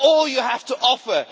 that all you have offer?